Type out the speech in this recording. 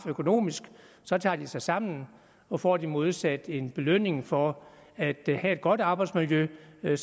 økonomisk straf tager de sig sammen og får de modsat en belønning for at have et godt arbejdsmiljø er